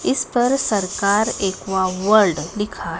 इस पर सरकार एक्वा वर्ल्ड लिखा--